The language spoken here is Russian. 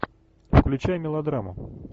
включай мелодраму